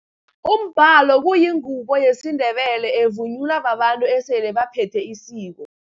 Umbhalo kuyingubo yesiNdebele, evunulwa babantu esele baphethe isiko.